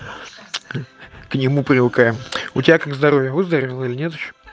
к нему привыкаем у тебя как здоровье выздоровела или нет ещё